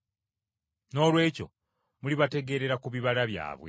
Noolwekyo mulibategeerera ku bibala byabwe.”